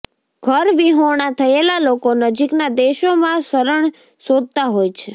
ઘરવિહોણા થયેલા લોકો નજીકના દેશોમાં શરણ શોધતા હોય છે